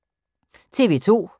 TV 2